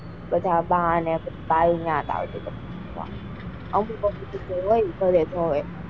બધા બા ને ત્યાં આવે,